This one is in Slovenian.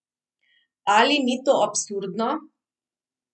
Ali ni to absurdno?